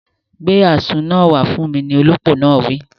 Gbé àzu náà wá fún mi, ni olópò náà wí